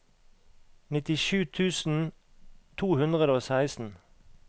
nittisju tusen to hundre og seksten